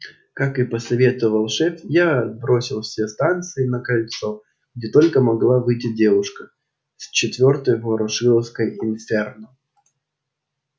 как и посоветовал шеф я бросил все станции на кольцо где только могла выйти девушка с четвёртой ворошиловской инферно